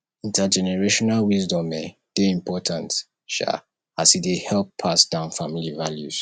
intergenerational wisdom um dey important um as e dey help pass down family values